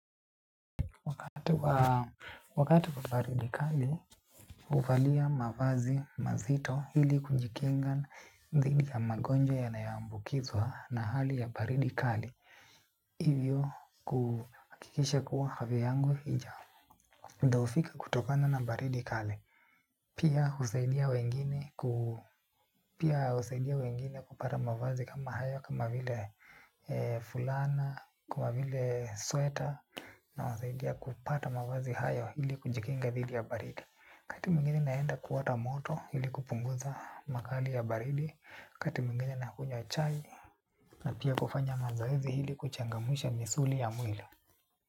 Kwa wakati kwa baridi kali, huvalia mavazi mazito ili kujikinga dhidi ya magonjwa yanayoqmbukizwa na hali ya baridi kali, hivyo kuhakikisha kuwa afya yangu hijao. Muda hufika kutokana na baridi kali. Pia husaidia wengine kupata mavazi kama hayo kama vile fulana, kama vile sweater. Nawasaidia kupata mavazi hayo ili kujikinga dhidi ya baridi wakati mwingine naenda kuota moto ili kupunguza makali ya baridi. Kati mwingine nakunywa chai. Na pia kufanya mazoezi ili kuchangamsha misuli ya mwili.